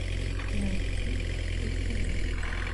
найти стс